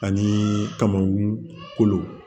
Ani kamankunkolo